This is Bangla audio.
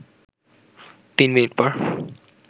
তিন মিনিট পর